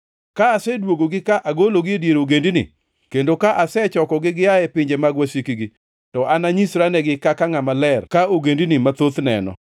Ka aseduogogi ka agologi e dier ogendini, kendo ka asechokogi gia e pinje mag wasikgi, to ananyisranegi kaka ngʼama ler ka ogendini mathoth neno.